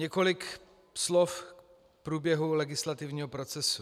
Několik slov k průběhu legislativního procesu.